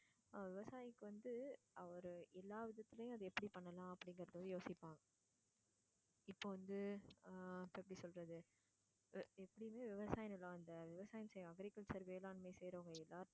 ஆஹ் விவசாயிக்கு வந்து அவரு எல்லா விதத்துலேயும் அது எப்படி பண்ணலாம் அப்படிங்கிறதை தான் யோசிப்பாங்க இப்போ வந்து ஆஹ் இப்போ எப்படி சொல்றது எப்படியுமே விவசாய நிலம் அந்த விவசாயம் செய்யுற agriculture வேளாண்மை செய்றவங்க எல்லாருமே